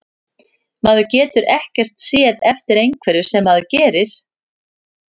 Maður getur ekkert séð eftir einhverju sem maður gerir.